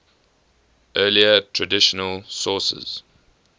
earlier traditional sources